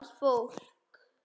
Þetta gamla fólk.